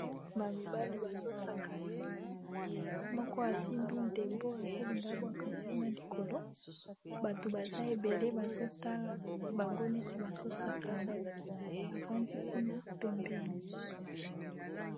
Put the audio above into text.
Ba mibali bazo sakana moko asimbi ndembo azolinga bwaka nkuna likolo bato baza ebele bazo tala bango neti bazosakana ba fandi kuna pembeni.